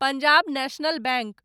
Punjab National bank